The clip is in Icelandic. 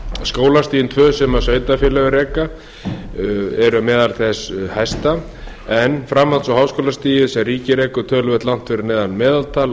skólastigin tvö sem sveitarfélögin reka eru meðal þess hæsta en framlög á háskólastigi sem ríkið rekur töluvert langt fyrir neðan meðaltal